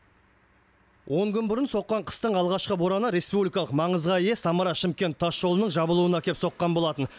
он күн бұрын соққан қыстың алғашқы бораны республикалық маңызға ие самара шымкент тасжолының жабылуына әкеп соққан болатын